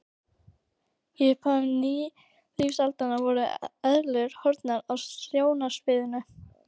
Í upphafi nýlífsaldar voru eðlurnar horfnar af sjónarsviðinu.